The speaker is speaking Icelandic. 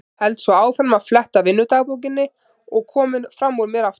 Held svo áfram að fletta vinnudagbókinni og kominn fram úr mér aftur.